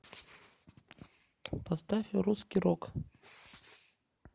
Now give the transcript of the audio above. поставь русский рок